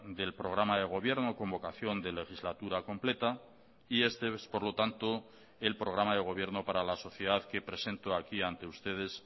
del programa de gobierno con vocación de legislatura completa y este es por lo tanto el programa de gobierno para la sociedad que presento aquí ante ustedes